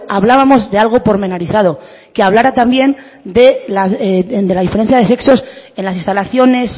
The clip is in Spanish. hablábamos de algo pormenorizado que hablara también de las diferencias de sexos en las instalaciones